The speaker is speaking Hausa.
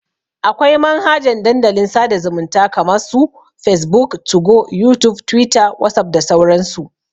Akwai manhajan Dandalin sada zumunta kama su facebook, 2go, youtube, twitter, whatsapp da sauran su.